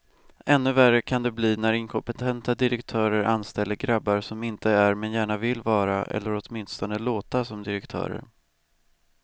Ännu värre kan det bli när inkompetenta direktörer anställer grabbar som inte är, men gärna vill vara eller åtminstone låta som direktörer.